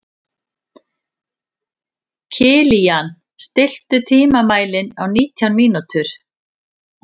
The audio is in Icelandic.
Kilían, stilltu tímamælinn á nítján mínútur.